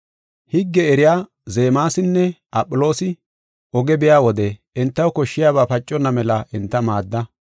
Higge eriya Zeemasinne Aphiloosi oge biya wode entaw koshshiyabay paconna mela enta maadda.